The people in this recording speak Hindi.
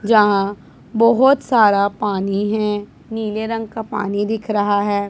जहां बहोत सारा पानी है नीले रंग का पानी दिख रहा है।